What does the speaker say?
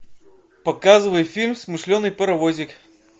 показывай фильм смышленый паровозик